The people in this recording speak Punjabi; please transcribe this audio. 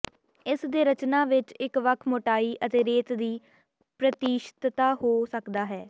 ਇਸ ਦੇ ਰਚਨਾ ਵਿੱਚ ਇੱਕ ਵੱਖ ਮੋਟਾਈ ਅਤੇ ਰੇਤ ਦੀ ਪ੍ਰਤੀਸ਼ਤਤਾ ਹੋ ਸਕਦਾ ਹੈ